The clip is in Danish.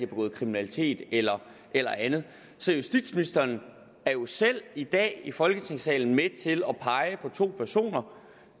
begået kriminalitet eller eller andet så justitsministeren er jo selv i dag i folketingssalen med til at pege på to personer